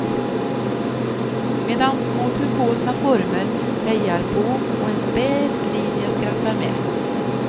Medan små turkosa former hejar på och en späd linje skrattar med.